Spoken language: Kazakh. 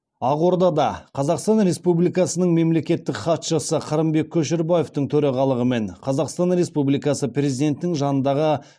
ақордада қазақстан республикасының мемлекеттік хатшысы қырымбек көшербаевтың төрағалығымен қазақстан республикасы президентінің жанындағы